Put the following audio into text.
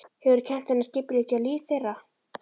Hefur kennt henni að skipuleggja líf þeirra.